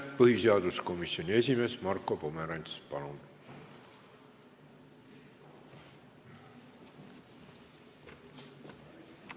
Põhiseaduskomisjoni esimees Marko Pomerants, palun!